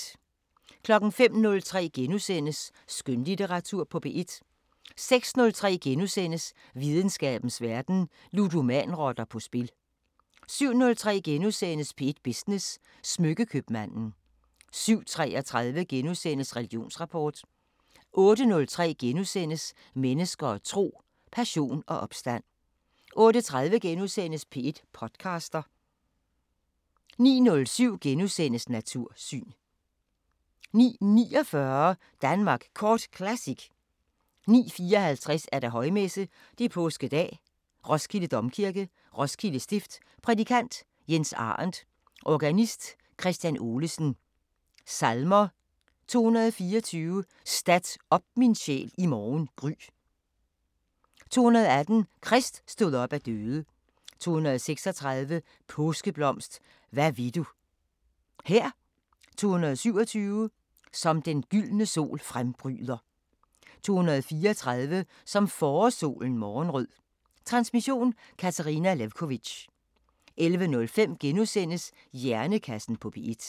05:03: Skønlitteratur på P1 * 06:03: Videnskabens Verden: Ludomanrotter på spil * 07:03: P1 Business: Smykke-købmanden * 07:33: Religionsrapport * 08:03: Mennesker og tro: Passion og opstand * 08:30: P1 podcaster * 09:07: Natursyn * 09:49: Danmark Kort Classic 09:54: Højmesse - Påskedag, Roskilde Domkirke, Roskilde Stift. Prædikant: Jens Arendt Organist: Kristian Olesen Salmer: 224: Stat op min sjæl i morgen gry. 218: Krist stod op af døde. 236: Påskeblomst, hvad vil du Her. 227: Som den gyldne sol frembryder. 234: Som forårssolen morgenrød. Transmission: Katarina Lewkovitch. 11:05: Hjernekassen på P1 *